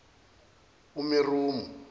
umeromo